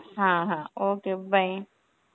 হ্যাঁ হ্যাঁ okay bye.